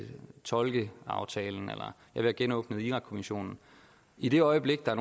tolkeaftalen eller vil have genåbnet irakkommissionen i det øjeblik der